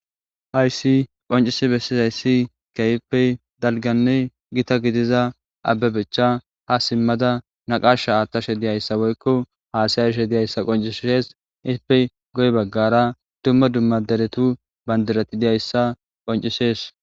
Haysi qonc'isi besizaysi, dalganne gita gidida Abebecha naqasha adashe woyko hassayashe dizaysa besses. Izzipe guye bagara duma duma deretu bandiray dizaysa qonc'isses.